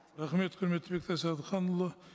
рахмет құрметті бектас әбдіханұлы